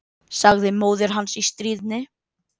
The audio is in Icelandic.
sagði móðir hans í stríðni.